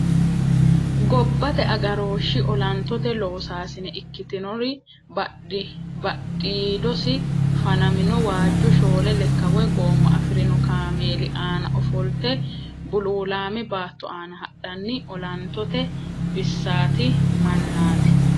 Gobbate agarooshshi olantote loosaasine ikkitinori badhiidosi fanamino waajju shoole lekka woy gooma afirino kaameeli aana ofolte bululaame baatto aana hadhanni olantote bissaati(mannaati).